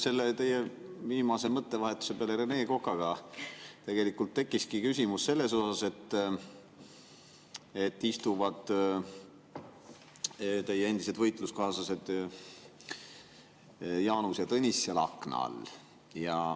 Mul tekkis selle teie ja Rene Koka viimase mõttevahetuse peale küsimus selle kohta, et teie endised võitluskaaslased Jaanus ja Tõnis istuvad seal akna all.